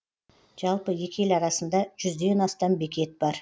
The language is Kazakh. жалпы екі ел арасында жүзден астам бекет бар